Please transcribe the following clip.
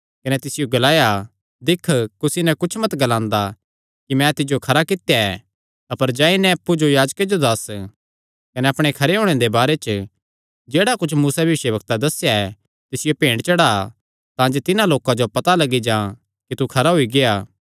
कने तिसियो ग्लाया दिक्ख कुसी नैं कुच्छ मत ग्लांदा अपर जाई नैं अप्पु जो याजके जो दस्स कने अपणे खरे होणे दे बारे च जेह्ड़ा कुच्छ मूसैं भविष्यवक्तैं दस्सेया ऐ तिसियो भेंट चढ़ा तांजे तिन्हां लोकां जो पता लग्गी जां कि तू खरा होई गेआ